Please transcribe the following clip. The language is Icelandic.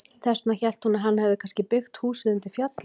Þess vegna hélt hún að hann hefði kannski byggt húsið undir fjalli.